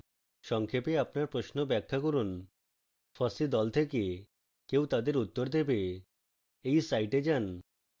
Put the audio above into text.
সংক্ষেপে আপনার প্রশ্ন ব্যাখ্যা করুন